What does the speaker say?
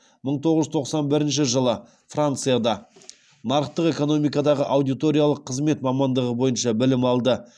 мың тоғыз жүз тоқсан бірінші жылы францияда нарықтық экономикадағы аудиториялық қызмет мамандығы бойынша білім алды